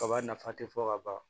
Kaba nafa tɛ fɔ ka ban